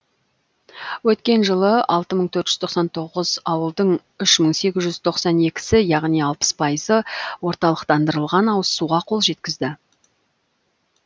өткен жылы алты мың төрт жүз тоқсан тоғыз ауылдың үш мың сегіз жүз тоқсан екісі яғни алпыс пайызы орталықтандырылған ауызсуға қол жеткізді